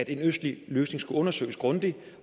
en østlig løsning skulle undersøges grundigt